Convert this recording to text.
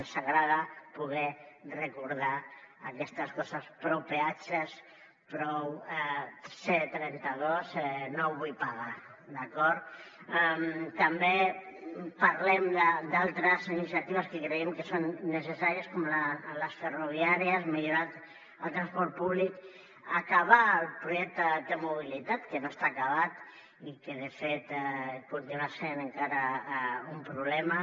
ens agrada poder recordar aquestes coses prou peatges prou c trenta dos no vull pagar d’acord també parlem d’altres iniciatives que creiem que són necessàries com les ferroviàries millorar el transport públic acabar el projecte de mobilitat que no està acabat i que de fet continua sent encara un problema